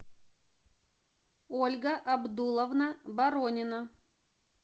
ольга абдулловна боронина